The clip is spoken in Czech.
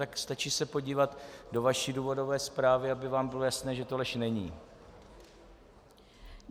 Tak stačí se podívat do vaší důvodové zprávy, aby vám bylo jasné, že to lež není.